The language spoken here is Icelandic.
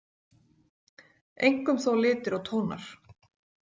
Einkum þó litir og tónar.